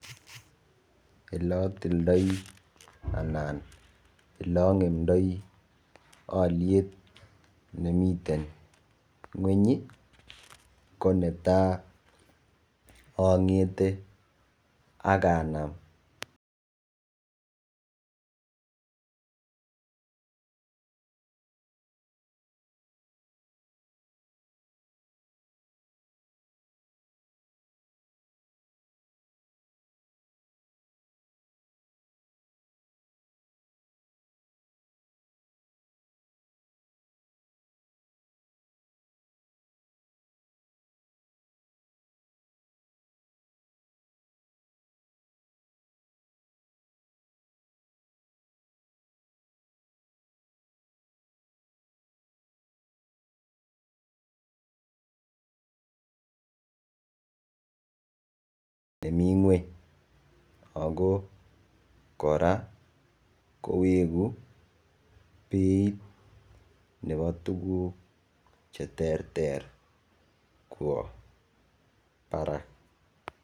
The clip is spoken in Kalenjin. Oleayildoi anan oleangemdoi aliet nemiten ngweny konetai angete akanam